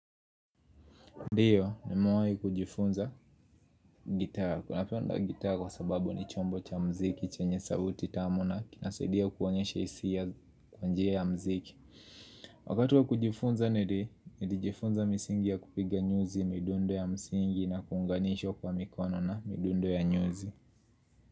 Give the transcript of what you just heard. Ndiyo, nimewai kujifunza gitaa. Ninapenda gitaaa kwa sababu ni chombo cha mziki, chenye sauti tamu na kinasadia kuonyesha hisia kwa njia ya mziki. Wakati kwa kujifunza nili, nili jifunza misingi ya kupiga nyuzi, midundo ya msingi na kuunganishwa kwa mikono na midundo ya nyuzi.